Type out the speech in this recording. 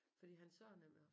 Fordi han sagde nemlig